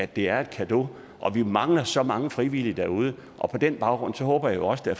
det er en cadeau og vi mangler så mange frivillige derude og på den baggrund håber jeg også der